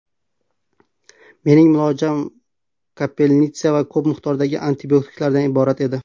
Mening muolajam ‘kapelnitsa’ va ko‘p miqdordagi antibiotiklardan iborat edi.